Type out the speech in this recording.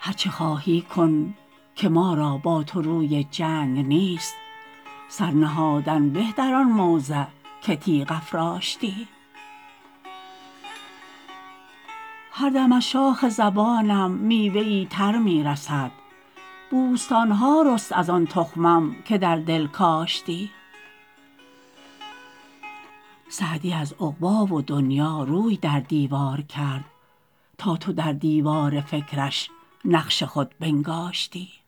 هر چه خواهی کن که ما را با تو روی جنگ نیست سر نهادن به در آن موضع که تیغ افراشتی هر دم از شاخ زبانم میوه ای تر می رسد بوستان ها رست از آن تخمم که در دل کاشتی سعدی از عقبی و دنیا روی در دیوار کرد تا تو در دیوار فکرش نقش خود بنگاشتی